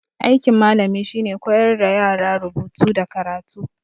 Aikin malami shine koyar da yara rubutu da karatu